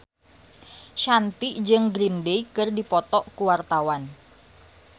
Shanti jeung Green Day keur dipoto ku wartawan